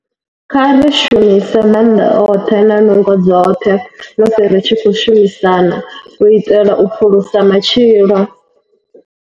Kha ri shumise maanḓa oṱhe na nungo dzoṱhe musi ri tshi khou shumisana u itela u phulusa matshilo.